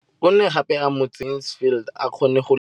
O ne gape a mo tsenyetsa metsi gore Mansfield a kgone go